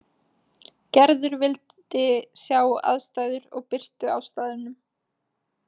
Gerður vildi sjá aðstæður og birtu á staðnum.